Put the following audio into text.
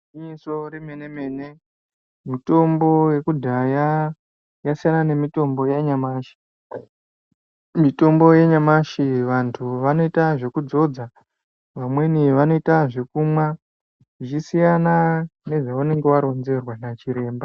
Igwinyiso remene-mene mitombo yekudhaya yasiyana nemitombo yanyamashi. Mitombo yanyamashi vantu vanoita zvekudzodza, vamweni vanoita zvekumwa, zvichisiyana nezvaunenge waronzerwa nachiremba.